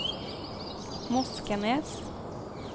Moskenes